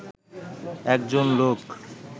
একজন লোক